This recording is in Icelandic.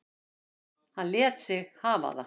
Hann lét sig hafa það.